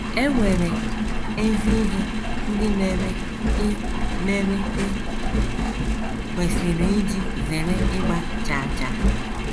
È nwere ezi ihe ndị mere i mere i kwesịrị iji zere ịgba chaa chaa?